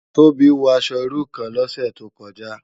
Tobi wò aṣò irú kán lòsè tókòjá